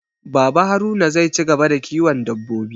Baba Haruna zai ci gaba da kiwon dabbobi